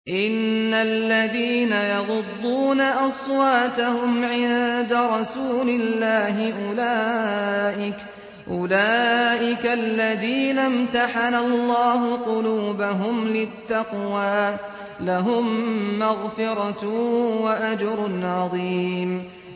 إِنَّ الَّذِينَ يَغُضُّونَ أَصْوَاتَهُمْ عِندَ رَسُولِ اللَّهِ أُولَٰئِكَ الَّذِينَ امْتَحَنَ اللَّهُ قُلُوبَهُمْ لِلتَّقْوَىٰ ۚ لَهُم مَّغْفِرَةٌ وَأَجْرٌ عَظِيمٌ